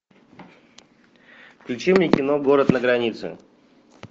включи мне кино город на границе